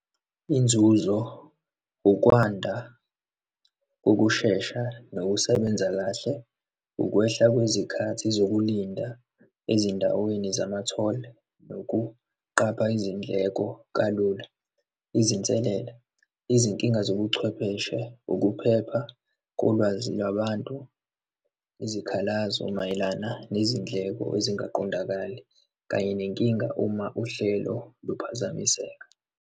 Inzuzo, ukwanda kokushesha nokusebenza kahle, ukwehla kwezikhathi zokulinda ezindaweni zama-toll, nokuqapha izindleko kalula. Izinselela, izinkinga zobuchwepheshe, ukuphepha kolwazi lwabantu, izikhalazo mayelana nezindleko ezingaqondakali, kanye nenkinga uma uhlelo luphazamiseka.